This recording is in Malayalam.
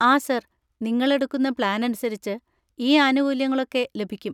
ആ, സാർ, നിങ്ങളെടുക്കുന്ന പ്ലാൻ അനുസരിച്ച്, ഈ ആനുകൂല്യങ്ങളൊക്കെ ലഭിക്കും.